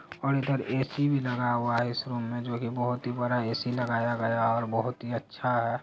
और इधर A C भी लगा हुआ है इस रूम में जो की बहुत ही बड़ा ऐ_सी लगाया गया है और बहुत ही अच्छा है।